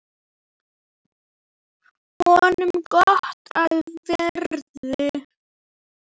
Honum gott af verði.